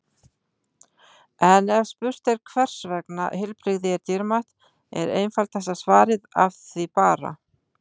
En ef spurt er hvers vegna heilbrigði er dýrmætt er einfaldasta svarið Af því bara!